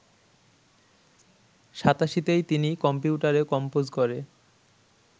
৮৭তেই তিনি কম্পিউটারে কম্পোজ করে